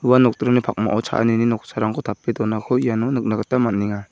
ua nokdringni pakmao cha·anini noksarangko tape donako iano nikna gita man·enga.